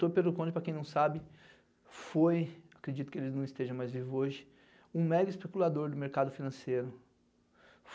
Doutor Pedro Conde, para quem não sabe, foi, acredito que ele não esteja mais vivo hoje, um mega especulador do mercado financeiro.